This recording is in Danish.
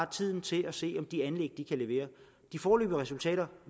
tiden til at se om de anlæg kan levere de foreløbige resultater